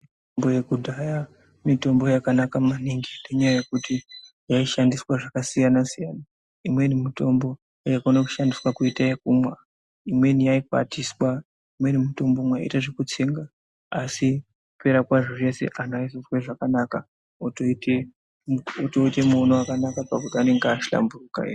Mbo yekudhaya mutombo yakanaka maningi ngenyaya ywkuti yaishandiswa zvakasiyana siyana imweni mutombo yaikone kushandiswa kuite yekumwa imweni yaikwatiswa imweni mutombo mwaiite zvekutsenga asi kupera kwazvo zvese anhu aizozwe zvakanaka otoite otite muono wakanaka pakuti anenge ahlamburuka e.